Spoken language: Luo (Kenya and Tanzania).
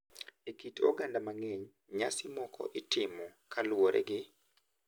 E kit oganda mang’eny, nyasi moko itimo kaluwore gi .